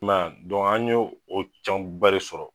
kuma an ye o caman ba de sɔrɔ.